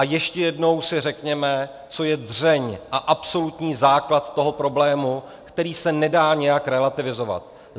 A ještě jednou si řekněme, co je dřeň a absolutní základ toho problému, který se nedá nijak relativizovat.